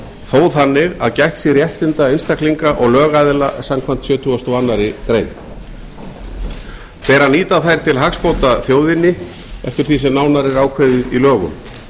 þó þannig að gætt sé réttinda einstaklinga og lögaðila samkvæmt sjötugasta og aðra grein ber að nýta þær til hagsbóta þjóðinni eftir því sem nánar er ákveðið í lögum